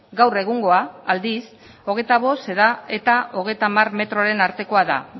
gaur egungoa aldiz hogeita bost da eta hogeita hamar metroaren artekoa da